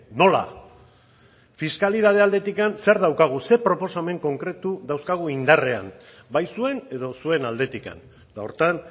nola fiskalitate aldetik zer daukagu zer proposamen konkretu dauzkagu indarrean bai zuen edo zuen aldetik eta horretan